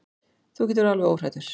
Þú getur verið alveg óhræddur.